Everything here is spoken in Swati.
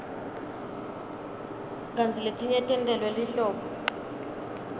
kantsi letinye tentelwe lihlobo